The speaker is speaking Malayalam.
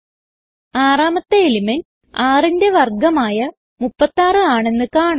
ആറാമത്തെ എലിമെന്റ് 6ന്റെ വർഗമായ 36 ആണെന്ന് കാണാം